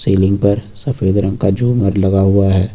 Ceiling पर सफेद रंग का झूमर लगा हुआ है।